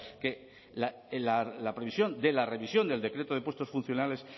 que la previsión de la revisión del decreto de puestos funcionales